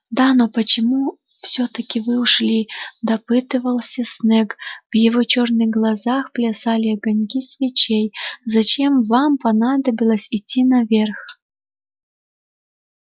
да но почему всё-таки вы ушли допытывался снегг в его черных глазах плясали огоньки свечей зачем вам понадобилось идти наверх